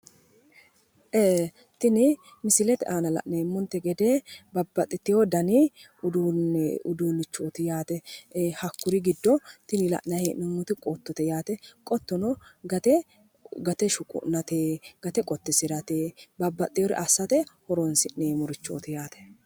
ee, tini misilete aana la'neemonte gede babbaxitino danni uduunichooti yaate. ee, hakkuri giddo tini la'nayi hee'nomoti qottote yaate. qottono gate shuqu'nate gate qottisirate babbaxxinore assirate horonsi'neemorichooti yaate.